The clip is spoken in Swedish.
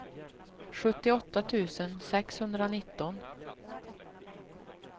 sjuttioåtta tusen sexhundranitton